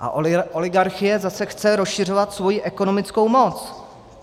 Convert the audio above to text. A oligarchie zase chce rozšiřovat svoji ekonomickou moc.